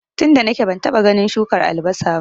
tunda nake bantaba ganin shukar albasa ba